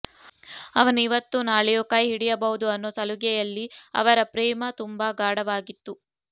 ಅವನು ಇವತ್ತೋ ನಾಳೆಯೋ ಕೈ ಹಿಡಿಯಬಹುದು ಅನ್ನೋ ಸಲುಗೆಯಲ್ಲಿ ಅವರ ಪ್ರೇಮ ತುಂಬಾ ಗಾಢವಾಗಿತ್ತು